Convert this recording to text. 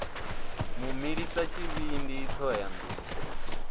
mu milisa tshivhindi thohoyanḓ ou